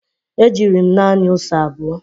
e jiri m nani ose abụo.